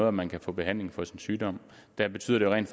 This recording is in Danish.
om man kan få behandling for sin sygdom der betyder det rent